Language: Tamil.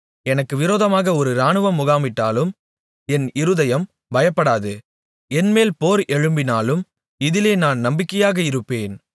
எனக்கு விரோதமாக ஒரு இராணுவம் முகாமிட்டாலும் என் இருதயம் பயப்படாது என்மேல் போர் எழும்பினாலும் இதிலே நான் நம்பிக்கையாக இருப்பேன்